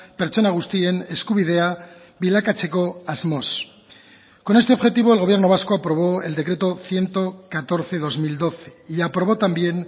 pertsona guztien eskubidea bilakatzeko asmoz con este objetivo el gobierno vasco aprobó el decreto ciento catorce barra dos mil doce y aprobó también